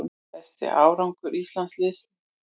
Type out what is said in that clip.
Besti árangur íslensks landsliðs